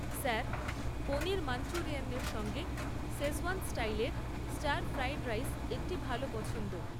Sir, paneer মাঞ্চুরিয়ানের সঙ্গে Schezwan স্টাইলের স্টার ফ্রাইড রাইস একটি ভাল পছন্দ।